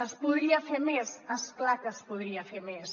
es podria fer més és clar que es podria fer més